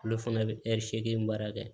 Olu fana bɛ ɛri seegin baara kɛ